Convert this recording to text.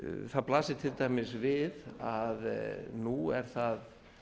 það blasir til dæmis við að nú er það